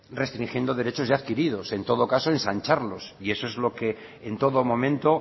restringiendo derechos ya adquiridos en todo caso ensancharlos y eso es lo que en todo momento